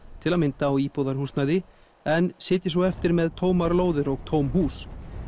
til að mynda á íbúðarhúsnæði en sitji svo eftir með tómar lóðir og tóm hús